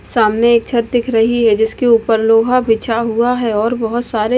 सामने एक छत दिख रही है। जिसके ऊपर लोहा बिछा हुआ है और बहोत सारे--